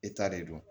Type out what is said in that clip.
E ta de don